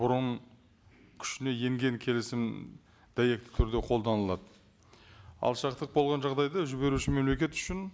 бұрын күшіне енген келісім дәйекті түрде қолданылады ал шарттық болған жағдайда жіберуші мемлекет үшін